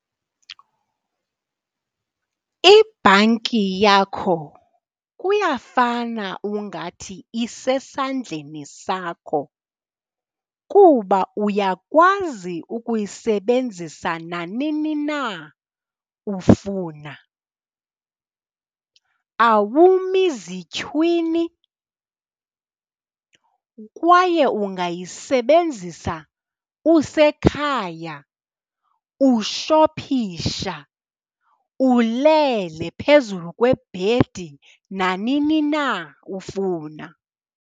Ibhanki yakho kuyafana ungathi isesandleni sakho kuba uyakwazi ukuyisebenzisa nanini na ufuna. Awumi zityhuwini kwaye ungayisebenzisa usekhaya, ushophisha, ulele phezulu kwebhedi, nanini na ufuna